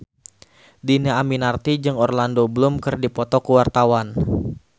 Dhini Aminarti jeung Orlando Bloom keur dipoto ku wartawan